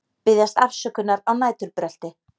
Biðjast afsökunar á næturbrölti